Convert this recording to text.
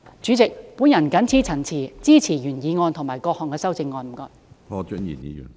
主席，我謹此陳辭，支持原議案及各項修正案。